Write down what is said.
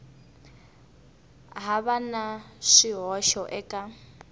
ha va na swihoxo eka